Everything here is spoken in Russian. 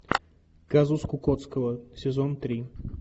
казус кукоцкого сезон три